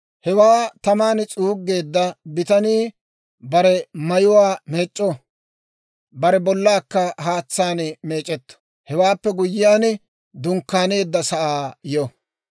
Hewaa taman s'uuggeedda bitanii bare mayuwaa meec'c'o; bare bollaakka haatsaan meec'etto; Hewaappe guyyiyaan, dunkkaaneedda sa'aa yo.